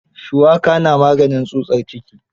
Shuwaka na maganin tsutsar ciki.